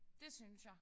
Det synes jeg